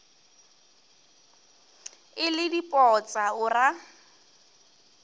e le dipotsa o ra